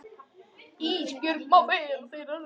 Ísbjörg má fá þeirra rúm.